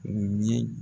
U ye